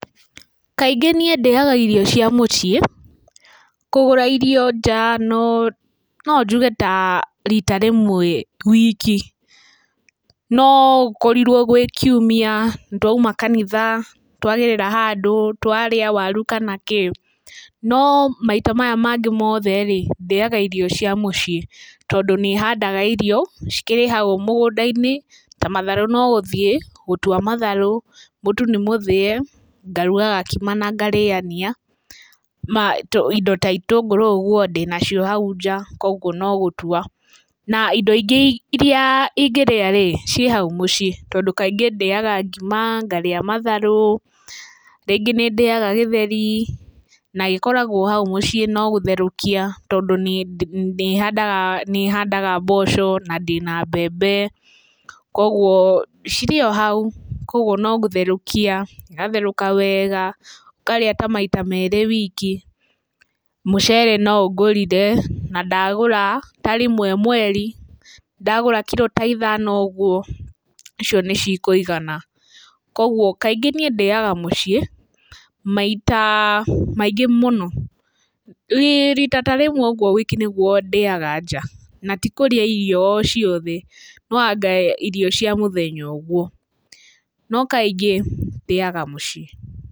Kaingĩ niĩ ndĩaga irio cia mũciĩ, kũgũra irio nja no, no njuge ta rita rĩmwe wiki, no gũkorirwo gwĩ kiuma nĩtwauma kanitha twagerera handũ, twarĩa waru kana kĩ no maita maya mangĩ mothe-rĩ ndĩaga irio cia mũciĩ, tondũ nĩ handaga irio, cikĩrĩ hau mũgũnda-inĩ ta matharũ nogũthiĩ gũtua matharũ, mũtu nĩ mũthĩe ngaruga gakima na ngarĩania, indo ta itũngũru ũguo ndĩnacio hau nja koguo nogũtua, na indo ingĩ iria ingĩrĩa-rĩ ciĩhau mũciĩ tondũ kaingĩ ndĩaga ngima, ngarĩa matharũ, rĩngĩ nĩndĩaga gĩtheri na gĩkoragwo hau mũciĩ no gũtherũkia tondũ nĩ handaga nĩ handaga mboco na ndĩna mbembe koguo cirĩ o hau, koguo no gũtherũkia igatherũka wega, ũkarĩa ta maita merĩ wiki. Mucere no ngũrire na ndagũra ta rĩmwe mweri, ndagũra kiro ta ithano ũguo, icio ni cikũigana. Koguo kaingĩ niĩ ndĩaga mũciĩ maita maingĩ mũno, rita ta rĩmwe uguo wiki nĩguo ndĩaga nja, na tikũrĩa irio o ciothe, no anga irio cia mũthenya ũguo, no kaingĩ, ndĩaga mũciĩ.